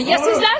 Ya sizlər?